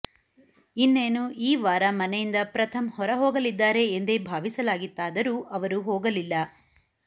ಇನ್ನೇನು ಈ ವಾರ ಮನೆಯಿಂದ ಪ್ರಥಮ್ ಹೊರ ಹೋಗಲಿದ್ದಾರೆ ಎಂದೇ ಭಾವಿಸಲಾಗಿತ್ತಾದರೂ ಅವರು ಹೋಗಲಿಲ್ಲ